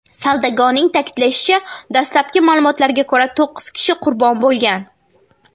Saldagoning ta’kidlashicha, dastlabki ma’lumotlarga ko‘ra, to‘qqiz kishi qurbon bo‘lgan.